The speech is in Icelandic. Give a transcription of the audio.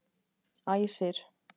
Æsir